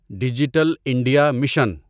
digital India mission